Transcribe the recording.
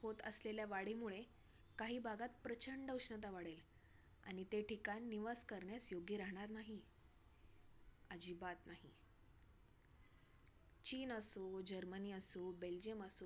होत असलेल्या वाढीमुळे काही भागात प्रचंड उष्णता वाढेल. आणि ते ठिकाण निवास करण्यास योग्य राहणार नाही. अजिबात नाही! चीन असो, जर्मनी असो, बेल्जियम असो.